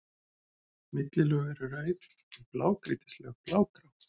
Millilög eru rauð, en blágrýtislög blágrá.